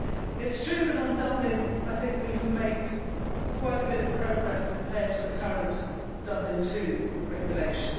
It is true that on Dublin we have made quite a bit of progress compared to the current Dublin II Regulation.